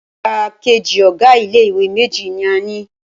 Igbákejì ọ̀ga ilé ìwé méjì ní a ni.